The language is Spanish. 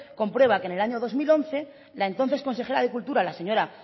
comprueba que en el año dos mil once la entonces consejera de cultura la señora